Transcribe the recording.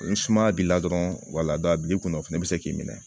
Ni sumaya b'i la dɔrɔn wala a b'i kunna o fana bɛ se k'i minɛ